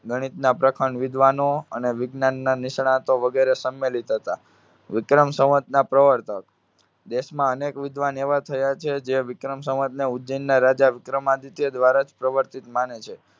ગણિતના વિદ્વાનો અને વિજ્ઞાનના નિષ્ણાંતો વગેરે સમ્મેલિત હતા. વિક્રમ સંવંતના પ્રવર્તક. દેશમાં અનેક વિદ્વાન એવા થયા છે, જે વિક્રમ સંવંતને ઉજ્જૈનના રાજા વિક્રમાદિત્ય દ્વારા જ પરિવર્તિત માને છે.